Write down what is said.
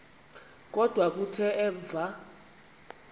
kodwa kuthe emva